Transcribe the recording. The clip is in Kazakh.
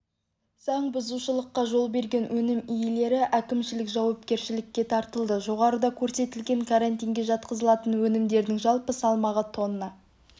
заңбұзушылыққа жол берген өнім иелері әкімшілік жауапкершілікке тартылды жоғарыда көрсетілген карантинге жатқызылатын өнімдердің жалпы салмағы тонна